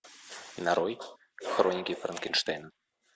нарой хроники франкенштейна